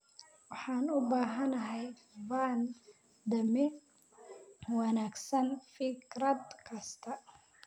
Waxaan u baahanahay van damee wanaagsan fikrad kasta